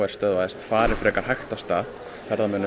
stöðvaðist fari frekar hægt af stað ferðamönnum